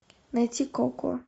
найти коко